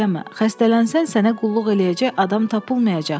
Xəstələnsən, sənə qulluq eləyəcək adam tapılmayacaq.